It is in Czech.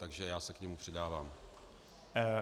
Takže já se k němu přidávám.